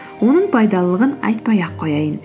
оның пайдалылығын айтпай ақ қояйын